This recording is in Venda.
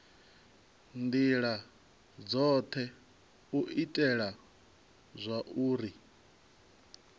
ndila dzothe u itela zwauri